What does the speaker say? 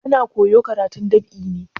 Ana koyo karatun dab'i ne?